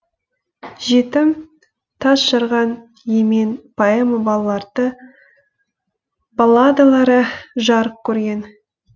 жетім тас жарған емен поэма балладалары жарық көрген